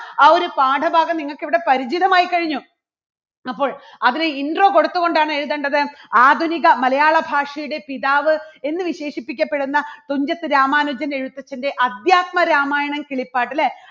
ആ ഒരു പാഠഭാഗം നിങ്ങൾക്ക് ഇവിടെ പരിചിതമായി കഴിഞ്ഞു. അപ്പോൾ അതിന് intro കൊടുത്തു കൊണ്ടാണ് എഴുതേണ്ടത്. ആധുനിക മലയാളഭാഷയുടെ പിതാവ് എന്ന് വിശേഷിപ്പിക്കപ്പെടുന്ന തുഞ്ചത്ത് രാമാനുജൻ എഴുത്തച്ഛൻറെ അധ്യാത്മരാമായണം കിളിപ്പാട്ട് അല്ലേ?